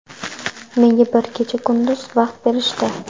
Menga bir kecha-kunduz vaqt berishdi.